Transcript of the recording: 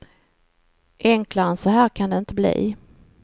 Enklare än så här kan det inte bli.